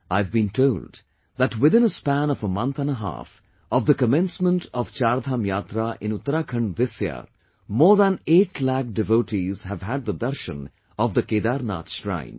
I have been told that within a span of a month and a half of the commencement of Chardham Yatra in Uttarakhand this year, more than 8 lakh devotees have had the darshan of Kedarnath Shrine